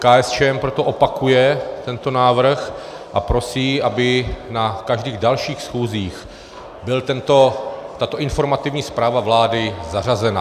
KSČM proto opakuje tento návrh a prosí, aby na každých dalších schůzích byla tato informativní zpráva vlády zařazena.